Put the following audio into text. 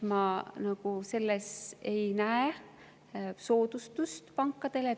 Ma ei näe selles nagu soodustust pankadele.